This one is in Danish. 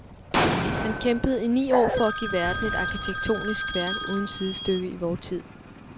Han kæmpede i ni år for at give verden et arkitektonisk værk uden sidestykke i vor tid.